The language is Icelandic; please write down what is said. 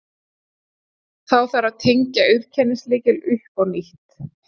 þá þarf að tengja auðkennislykil upp á nýtt